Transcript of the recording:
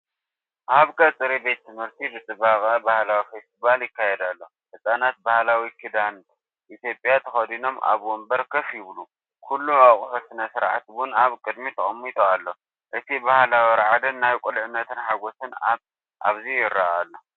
ኣብ ቀጽሪ ቤት ትምህርቲ ብጽባቐ ባህላዊ ፈስቲቫል ይካየድ ኣሎ። ህጻናት ባህላዊ ክዳን ኢትዮጵያ ተኸዲኖም ኣብ መንበር ኮፍ ይብሉ፤ ኩሉ ኣቕሑ ስነ-ስርዓት ቡን ኣብ ቅድሚት ተቐሚጡ ኣሎ። እቲ ባህላዊ ራዕድን ናይ ቁልዕነት ሓጎስን ኣብዚ ይርአ ኣሎ።